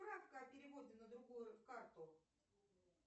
справка о переводе на другую карту